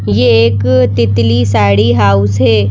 ये एक अ तितली साड़ी हाउस है।